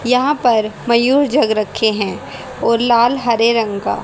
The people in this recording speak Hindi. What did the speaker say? यहां पर मयूर जग रखे हैं और लाल हरे रंग का--